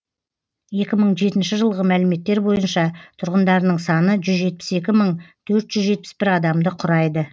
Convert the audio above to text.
екі мың жетінші жылғы мәліметтер бойынша тұрғындарының саны жүз жетпіс екі мың төрт жүз жетпіс бір адамды құрайды